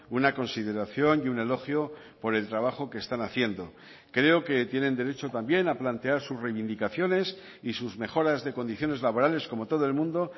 una consideración y un elogio por el trabajo que están haciendo creo que tienen derecho también a plantear sus reivindicaciones y sus mejoras de condiciones laborales como todo el mundo